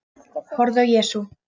Horfði á Jesú.